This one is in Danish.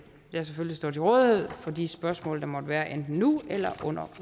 jeg selvfølgelig står til rådighed for de spørgsmål der måtte være enten nu eller under